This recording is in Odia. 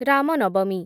ରାମ ନବମୀ